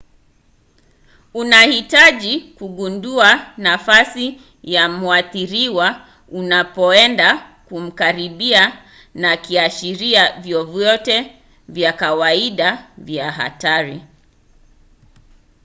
unahitaji kugundua nafasi ya mwathiriwa unapoenda kumkaribia na kiashiria vyovyote vya kawaida vya hatari